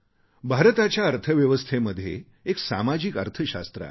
भारताच्या अर्थव्यवस्थेमध्ये एक सामाजिक अर्थशास्त्र आहे